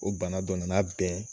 O bana dɔnna n'a bɛɛ ye